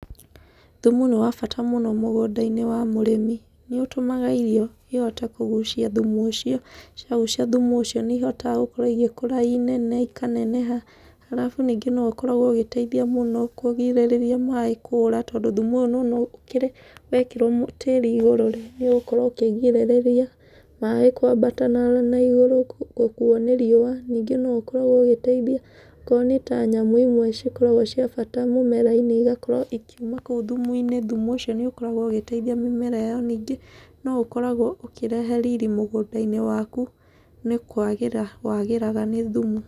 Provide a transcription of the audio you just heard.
Thumu nĩ wabata mũno mũgũnda-inĩ wa mũrĩmi, nĩũtũmaga irio ihote kũgucia thumu ũcio, ciagucia thumu ũcio nĩ ihotaga gũkũra i nene, ikaneneha arabu ningĩ no ũkoragwo ũgĩteithia mũno kũrigĩrĩria maĩ kũra tondũ wekĩrwo tĩri igũrũ nĩũgũkorwo ũkĩgirĩrĩria maĩ kwambata na igũrũ gũkuo nĩ riũa. Ningĩ no ũkoragwo ũgĩteithia okorwo nĩta nyamũ imwe cikoragwo cia bata mũmera-inĩ igakorwo ikiuma kũu thumu-inĩ. Thumu ũcio nĩ ũkoragwo ũgĩteithia mĩmera ya mĩingĩ, no ũkoragwo ũkĩrehe ririr mũgũnda-inĩ waku, nĩ kwagĩra wagĩraga nĩ thumu.